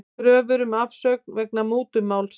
Kröfur um afsögn vegna mútumáls